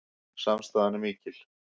Samstaðan er mikil